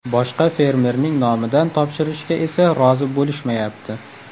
Boshqa fermerning nomidan topshirishga esa rozi bo‘lishmayapti.